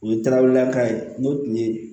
U ye darawelelaka ye n'o tun ye